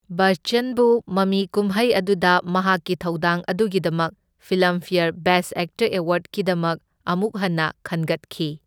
ꯕꯆꯆꯟꯕꯨ ꯃꯃꯤ ꯀꯨꯝꯍꯩ ꯑꯗꯨꯗ ꯃꯍꯥꯛꯀꯤ ꯊꯧꯗꯥꯡ ꯑꯗꯨꯒꯤꯗꯃꯛ ꯐꯤꯂꯝꯐꯦꯔ ꯕꯦꯁꯠ ꯑꯦꯛꯇꯔ ꯑꯦꯋꯥꯔꯗꯀꯤꯗꯃꯛ ꯑꯃꯨꯛ ꯍꯟꯅ ꯈꯟꯒꯠꯈꯤ꯫